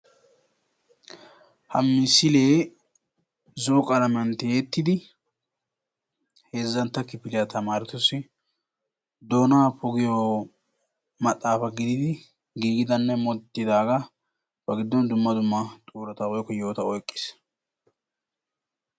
Ha misilee zo"o qalamiyan tiyetidi heezantta kifiliya tamaaretussi doonaa poggiyo maxaafa gididi gigidanne moodetidagaa ba giddon dumma dumma xuurata woykko yohota oyqqiis.